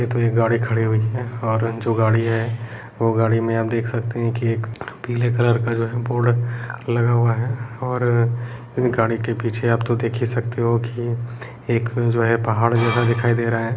ये तो एक गाड़ी खड़ी हुई है और जो गाड़ी है वो गाड़ी में आप देख सकते है की एक पीले कलर का जो है बोर्ड लगा हुआ है और इन गाड़ी के पीछे आप तो देख ही सकते हो की एक जो है पहाड़ जो है दिखाई दे रहा है।